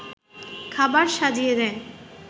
খাবার সাজিয়ে দেয়